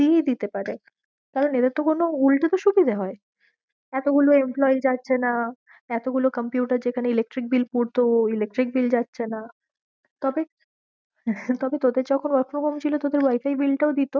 দিয়েই দিতে পারে কারণ এদের তো উল্টে সুবিদে হয় এতগুলো employee যাচ্ছে না, এত গুলো computer যেখানে electric bill পূর্তো electric bill যাচ্ছে না তবে তোদের যখন work from home ছিল, তোদের wifi bill টাও দিত?